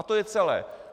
A to je celé.